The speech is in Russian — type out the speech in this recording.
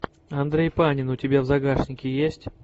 андрей панин у тебя в загашнике есть